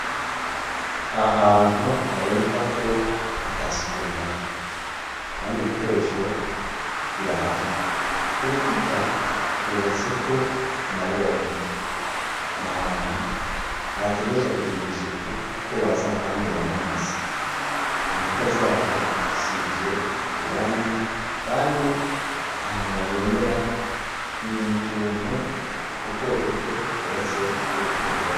Ahantu haboneka ko atasuku rihari, kand’ibikoresho birahari, urukuta rwubatseko amabomba ,nahantu hategerezwa kugirw’isuku kuko baza kuhanywera amazi ,inkuta zaho zisizwe irangi kandi ahantu bahemera ni mutuntu duto duto twubatse kurugwo ruhome.